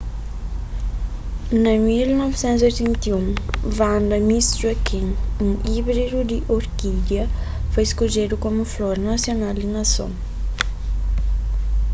na 1981 vanda miss joaquim un íbridu di orkídia foi skodjedu komu flor nasional di nason